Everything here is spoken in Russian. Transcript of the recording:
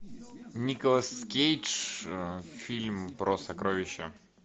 николас кейдж фильм про сокровища